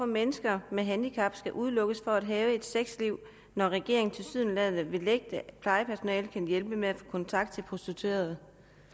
mennesker med handicap skal udelukkes fra at have et sexliv når regeringen tilsyneladende vil nægte at plejepersonalet kan hjælpe med at få kontakt til prostituerede